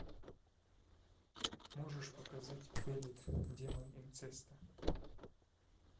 можешь показать белет демон инцеста